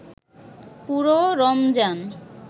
পুরো রমজান